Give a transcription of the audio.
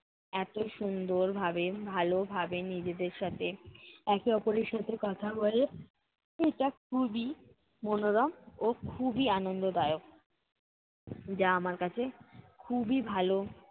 এত সুন্দর ভাবে ভালো ভাবে নিজেদের সাথে একে অপরের সাথে কথা বলে এটা খুবই মনোরম ও খুবই আন্দদায়ক। যা আমার কাছে খুবই ভালো